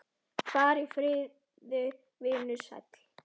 Far í friði, vinur sæll.